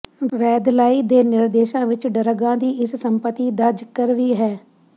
ਵੈਧਲਾਈ ਦੇ ਨਿਰਦੇਸ਼ਾਂ ਵਿਚ ਡਰੱਗਾਂ ਦੀ ਇਸ ਸੰਪਤੀ ਦਾ ਜ਼ਿਕਰ ਵੀ ਹੈ